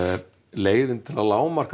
leiðin til að lágmarka